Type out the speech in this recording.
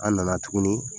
An nana tuguni